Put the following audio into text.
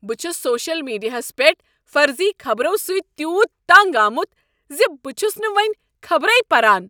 بہٕ چھس سوشل میڈیاہس پیٹھ فرضی خبرو سۭتۍ تیوٗت تنٛگ آمت ز بہٕ چھس نہٕ وۄنۍ خبرے پران۔